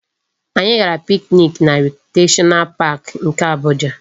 Anyị gara picnic na Recreational Park nke Abuja